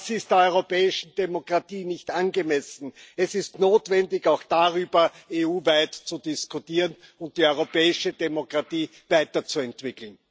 Das ist der europäischen Demokratie nicht angemessen. Es ist notwendig, auch darüber EU weit zu diskutieren und die europäische Demokratie weiterzuentwickeln.